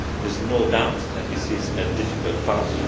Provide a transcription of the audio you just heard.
There is no doubt that this is a difficult